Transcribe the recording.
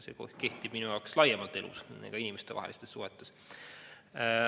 See kehtib minu jaoks elus laiemalt, ka inimestevahelistes suhetes.